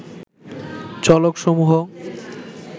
চলক সমূহ